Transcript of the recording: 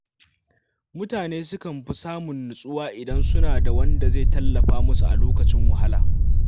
Mutane sukan fi samun nutsuwa idan suna da wanda zai tallafa musu a lokacin wahala.